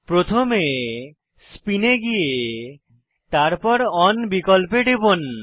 প্রথমে স্পিন এ গিয়ে তারপর ওন বিকল্পে টিপুন